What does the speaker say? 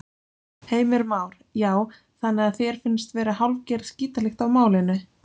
Heimir Már: Já, þannig að þér finnst vera hálfgerð skítalykt af málinu?